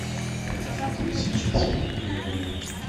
хочу смотреть сейчас фильм гремлины